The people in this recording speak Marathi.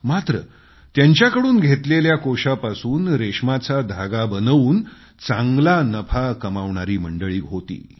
मात्र त्यांच्याकडून घेतलेल्या कोकूनपासून रेशमाचा धागा बनवून चांगला नफा कमावणारी मंडळी होती